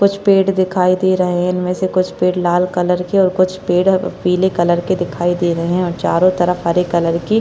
कुछ पेड़ दिखाई दे रहे है इनमे से कुछ पेड़ लाल कलर के और कुछ पेड़ पीले कलर के दिखाई दे रहे है और चारो तरफ हरे कलर की --